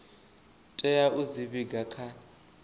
tea u dzi vhiga kha